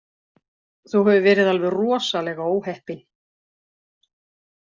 Þú hefur verið alveg rosalega óheppinn